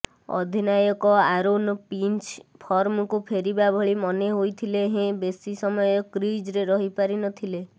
ଅଧିନାୟକ Aaron Finch ଫର୍ମକୁ ଫେରିବା ଭଳି ମନେ ହୋଇଥିଲେ ହେଁ ବେଶି ସମୟ କ୍ରିଜ୍ରେ ରହି ପାରିନଥିଲେ